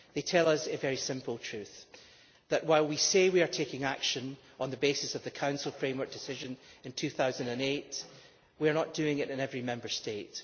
They tell us a very simple truth that, while we say we are taking action on the basis of the Council framework decision of 2008, we are not doing it in every Member State.